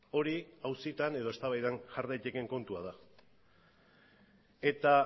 hori auzitan edo eztabaidan jar daitekeen kontua da eta